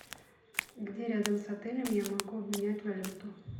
где рядом с отелем я могу обменять валюту